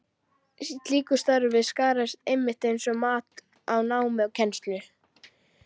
Í slíku starfi skarast einmitt mat á námi og kennslu.